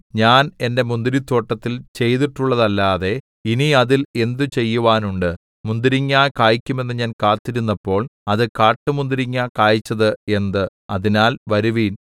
ഞാൻ എന്റെ മുന്തിരിത്തോട്ടത്തിൽ ചെയ്തിട്ടുള്ളതല്ലാതെ ഇനി അതിൽ എന്ത് ചെയ്യുവാനുണ്ട് മുന്തിരിങ്ങ കായ്ക്കുമെന്നു ഞാൻ കാത്തിരുന്നപ്പോൾ അത് കാട്ടുമുന്തിരിങ്ങ കായിച്ചത് എന്ത് അതിനാൽ വരുവിൻ